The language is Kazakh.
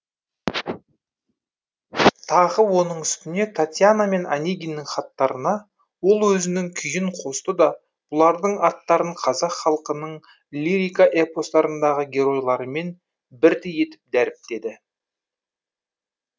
тағы оның үстіне татьяна мен онегиннің хаттарына ол өзінің күйін қосты да бұлардың аттарын қазақ халқының лирика эпостарындағы геройларымен бірдей етіп дәріптеді